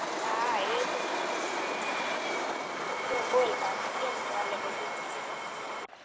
હા એજ ને સુ બોલ પાછું કેમ ચાલે બધૂ